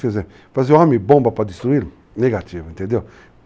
homem bomba para destruí-lo, negativo. Entendeu?